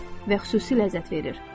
Və xüsusi ləzzət verir.